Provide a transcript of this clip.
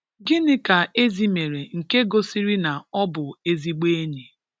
Gịnị ka Ezi mere nke gosịrị na ọ bụ ezigbo enyi?